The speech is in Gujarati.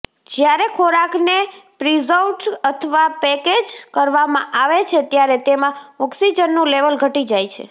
જ્યારે ખોરાકને પ્રિઝર્વ્ડ અથવા પેકેજ્ડ કરવામાં આવે છે ત્યારે તેમાં ઓક્સીજનનું લેવલ ઘટી જાય છે